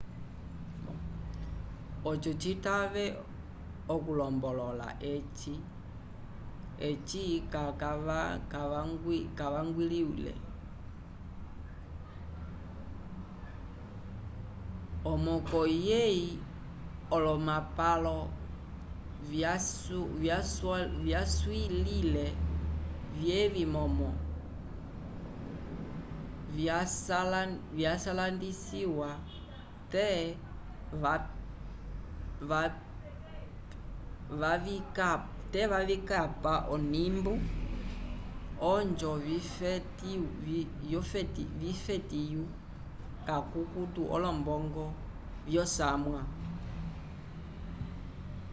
ocho citave okulombolola eci kacavangwiwile o mocoi yei olomapalo cavyasulwile vyevi momo ndsvyalandiciwa te vavikapa onimbu ojo vifetyu cacucuto olombongo vyoco samwa